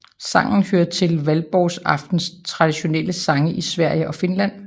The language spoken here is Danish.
Sangen hører til Valborgsaftens traditionelle sange i Sverige og Finland